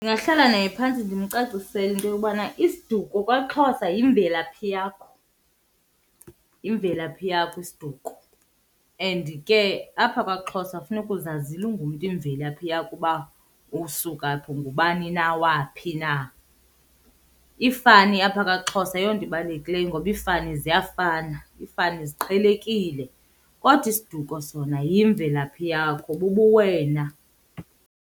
Ndingahlala naye phantsi ndimcacisele into yobana isiduko kwaXhosa yimvelaphi yakho, yimvelaphi yakho isiduko. And ke apha kwaXhosa funeka uzazile ungumntu imvelaphi yakho uba usuka phi, ungubani na, waphi na. Iifani apha kwaXhosa ayiyonto ibalulekileyo ngoba iifani ziyafana, iifani ziqhelekile kodwa isiduko sona yimvelaphi yakho bubuwena.